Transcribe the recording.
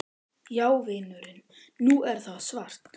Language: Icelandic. Já vinurinn. nú er það svart!